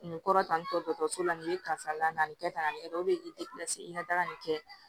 Nin kɔrɔ ta nin dɔgɔtɔrɔso la nin ye karisa la nin kɛ tan nin kɛ o de ye k'i i ka daga nin kɛ